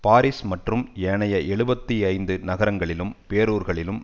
Paris மற்றும் ஏனைய எழுபத்தி ஐந்து நகரங்களிலும் பேரூர்களிலும்